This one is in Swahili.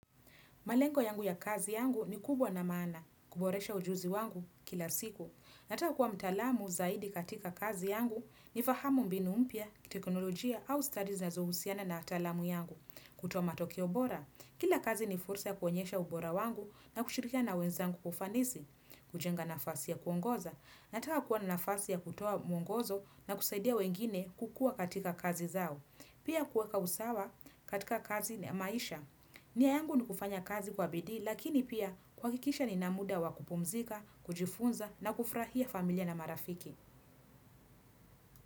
Malengo yangu ya kazi yangu ni kubwa na maana, kuboresha ujuzi wangu kila siku. Nataka kuwa mtaalamu zaidi katika kazi yangu nifahamu mbinu mpya, teknolojia au stadi zinazohusiana na taalamu yangu. Kutoa matokeo bora, kila kazi ni fursa ya kuonyesha ubora wangu na kushirikiana wenzangu kwa ufanisi. Kujenga nafasi ya kuongoza, nataka kuwa na nafasi ya kutoa mwongozo nakusaidia wengine kukua katika kazi zao. Pia kuweka usawa katika kazi na maisha. Nia yangu ni kufanya kazi kwa bidii lakini pia kuhakikisha ninamuda wa kupumzika, kujifunza na kufurahia familia na marafiki.